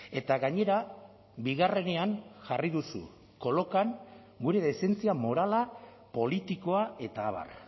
eta gainera bigarrenean jarri duzu kolokan gure dezentzia morala politikoa eta abar